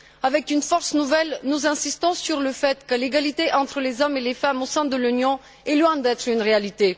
Avec une force nouvelle, nous insistons sur le fait que l'égalité entre les hommes et les femmes au sein de l'Union est loin d'être une réalité.